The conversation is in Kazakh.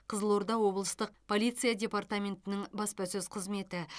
қызылорда облыстық полиция департаментінің баспасөз қызметі